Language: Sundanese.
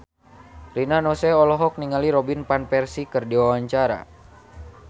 Rina Nose olohok ningali Robin Van Persie keur diwawancara